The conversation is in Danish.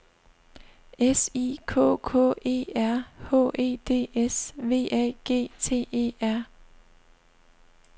S I K K E R H E D S V A G T E R